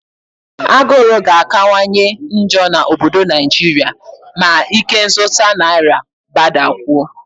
Agụrụ ga-akawanye njọ n'obodo Naijiria ma ikenzụta naira gbadakwuo